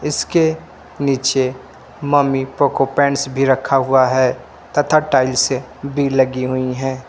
इसके नीचे Mamy Poko pants भी रखा हुआ है तथा टाइल्स भी लगी हुई है।